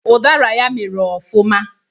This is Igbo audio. Ụdara ya mịrị ọfụma